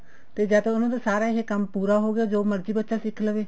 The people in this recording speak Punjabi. ਤੇ ਜੇ ਤੇ ਇਹਨਾ ਦਾ ਕੰਮ ਪੂਰਾ ਹੋਗਿਆ ਜੋ ਮਰਜ਼ੀ ਬੱਚਾ ਸਿੱਖ ਲਵੇ